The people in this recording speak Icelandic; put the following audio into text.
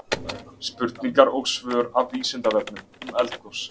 Spurningar og svör af Vísindavefnum um eldgos.